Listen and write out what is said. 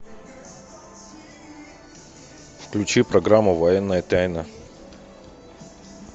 включи программу военная тайна